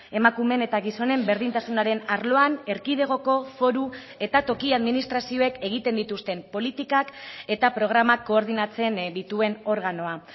emakumeen eta gizonen berdintasunaren arloan erkidegoko foru eta toki administrazioek egiten dituzten politikak eta programak koordinatzen dituen organoa